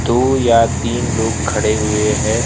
दो या तीन लोग खड़े हुए हैं।